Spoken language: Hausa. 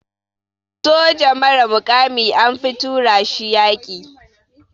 Soja mara mukami anfi tura shi yaƙi.